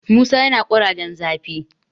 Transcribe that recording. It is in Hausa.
musa yana kurajen zafi